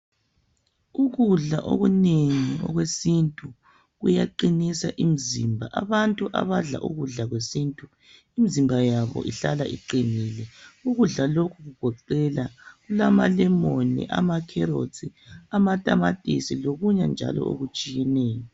Ukudla okunengi okwesintu kuyaqinisa imizimba. Abantu abadla ukudla kwesintu imizimba yabo ihlala iqinile. Ukudla lokhu kugoqela kulamalemoni, amakerotsi, amatamatisi lokunye njalo okutshiyeneyo.